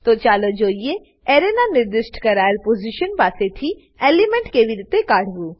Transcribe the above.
તો ચાલો જોઈએ એરેના નિર્દિષ્ટ કરાયેલ પોઝીશન પાસે થી એલિમેન્ટને કેવી રીતે કાઢવું